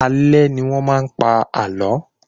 Alé ní wọ́n maá n pa àlọ́